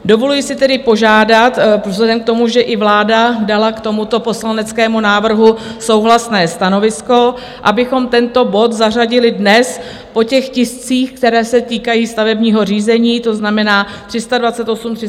Dovoluji si tedy požádat vzhledem k tomu, že i vláda dala k tomuto poslaneckému návrhu souhlasné stanovisko, abychom tento bod zařadili dnes po těch tiscích, které se týkají stavebního řízení, to znamená 328, 329 a 330, to znamená po bodu 330. Děkuji.